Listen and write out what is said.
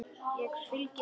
Ég fylgi þér!